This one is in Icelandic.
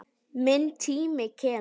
Minn tími kemur.